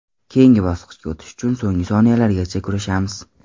Keyingi bosqichga o‘tish uchun so‘nggi soniyalargacha kurashamiz.